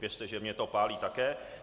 Věřte, že mě to pálí také.